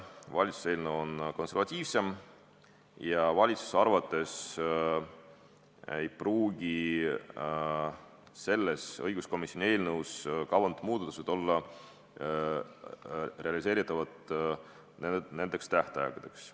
Valitsuse eelnõu on konservatiivsem ja valitsuse arvates ei pruugi õiguskomisjoni eelnõus kavandatud muutused olla tähtaegadeks realiseeritavad.